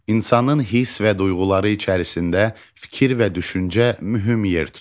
İnsanın hiss və duyğuları içərisində fikir və düşüncə mühüm yer tutur.